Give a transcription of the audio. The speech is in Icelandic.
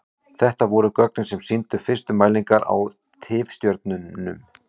Þetta voru gögnin sem sýndu fyrstu mælingar á tifstjörnum.